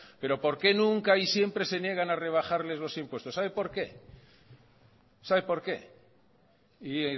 pero por qué nunca y siempre se niegan a rebajarles los impuestos sabe por qué sabe por qué y